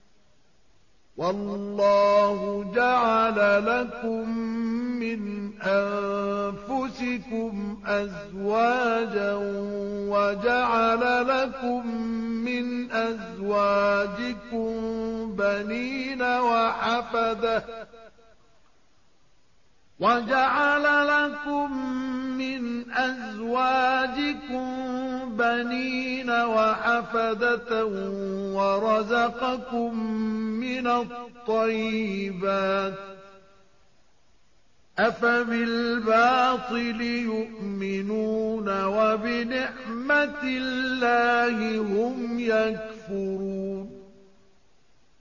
وَاللَّهُ جَعَلَ لَكُم مِّنْ أَنفُسِكُمْ أَزْوَاجًا وَجَعَلَ لَكُم مِّنْ أَزْوَاجِكُم بَنِينَ وَحَفَدَةً وَرَزَقَكُم مِّنَ الطَّيِّبَاتِ ۚ أَفَبِالْبَاطِلِ يُؤْمِنُونَ وَبِنِعْمَتِ اللَّهِ هُمْ يَكْفُرُونَ